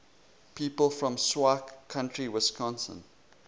people from sauk county wisconsin